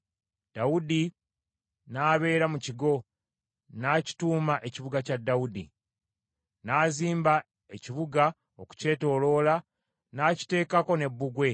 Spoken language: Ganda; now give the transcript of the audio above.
Dawudi n’abeera mu kigo, n’akituuma Ekibuga kya Dawudi. N’azimba ekibuga okukyetooloola, n’akiteekako ne bbugwe.